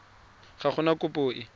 ga go na kopo e